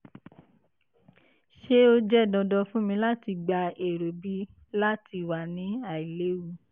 ṣe o jẹ dandan fun mi lati gba ero b lati wa ni ailewu?